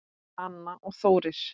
Anna og Þórir.